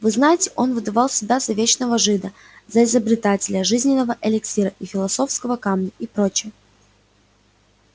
вы знаете он выдавал себя за вечного жида за изобретателя жизненного эликсира и философского камня и прочая